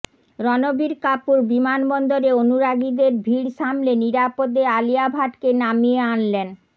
রণবীর কাপুর বিমানবন্দরে অনুরাগীদের ভিড় সামলে নিরাপদে আলিয়া ভাটকে নামিয়ে আনলেন